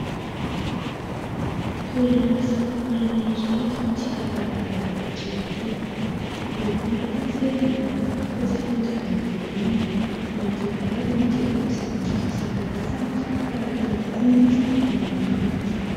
Toerana fisakafoanana iray eto amin'ity lavarangana raitra ity. Miloko mainty ny sezany, ary mavo kosa ny ondana eo amboniny. Manodidina azy moa dia feno zava-maitso isan-karazany tahaka ny akondro, ny manga.